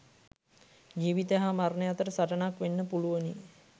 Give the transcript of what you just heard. ජීවිතය හා මරණය අතර සටනක් වෙන්න පුළුවනි.